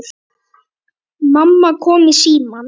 Mamma kom í símann.